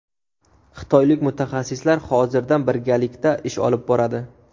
Xitoylik mutaxassislar hozirdan birgalikda ish olib boradi.